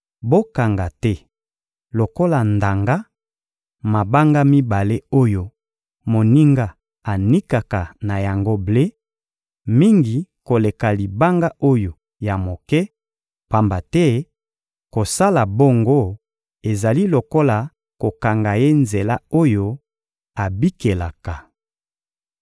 Bokanga te lokola ndanga, mabanga mibale oyo moninga anikaka na yango ble: mingi koleka libanga oyo ya moke, pamba te kosala bongo ezali lokola kokanga ye nzela oyo abikelaka.